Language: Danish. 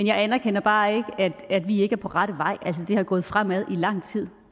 jeg anerkender bare ikke at vi ikke er på rette vej det har gået fremad i lang tid